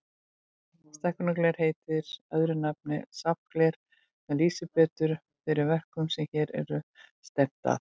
Stækkunargler heitir öðru nafni safngler, sem lýsir betur þeirri verkun sem hér er stefnt að.